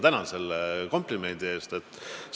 Tänan selle komplimendi eest!